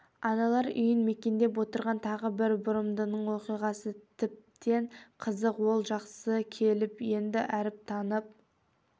аналар үйін мекендеп отырған тағы бір бұрымдының оқиғасы тіптен қызық ол жасқа келіп енді әріп танып